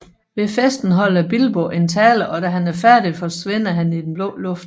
Ved festen holder Bilbo en tale og da han er færdig forsvinder han i den blå luft